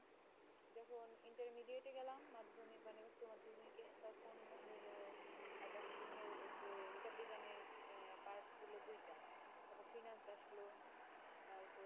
যখন intermediate এ গেলাম মাধ্যমিক মানে উচ্চ মাধ্যমিকে তখন এলো accounting এর যে হিসাববিজ্ঞানের part ছিল দুইটা তারপর finance আসলো। তারপর